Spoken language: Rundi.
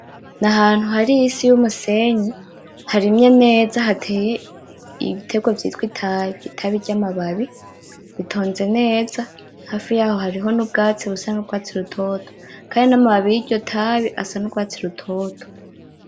Nahantu hari isi yumusenyi harimye neza hateye ibiterwa vyitwa itabi , itabi ryamababi ,ritonze neza hafi yaho hariho nubwatsi busa nurwatsi rutoto Kandi namababi yiryo tabi asa nurwatsi rutoto.